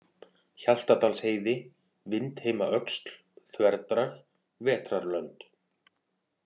Hjaltadalsheiði, Vindheimaöxl, Þverdrag, Vetrarlönd